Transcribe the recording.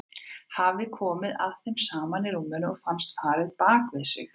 Hafði komið að þeim saman í rúminu og fannst farið á bak við sig.